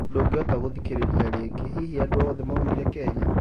ndungĩhota gũthikĩrĩria rĩngĩ, hihi andũ othe maũmirĩ Kenya?